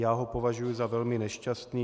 Já ho považuji za velmi nešťastný.